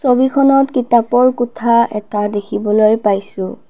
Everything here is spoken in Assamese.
ছবিখনত কিতাপৰ কোঠা এটা দেখিবলৈ পাইছোঁ